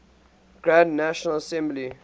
grand national assembly